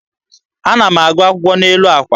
Ana m agụ akwụkwọ n'elu àkwà.